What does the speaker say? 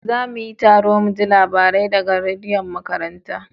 Za mu yi taro muji labarai da ga rediyon makaranta